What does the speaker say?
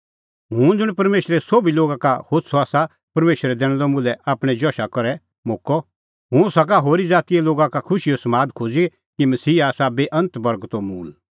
हुंह ज़ुंण परमेशरे सोभी लोगा का होछ़अ आसा परमेशरै दैनअ मुल्है आपणैं जशा करै मोक्कअ हुंह सका होरी ज़ातीए लोगा का खुशीओ समाद खोज़ी कि मसीहा आसा बेअन्त बर्गतो मूल़